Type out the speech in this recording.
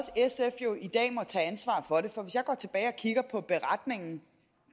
sf i dag må tage ansvar for det for hvis jeg går tilbage og kigger på beretningen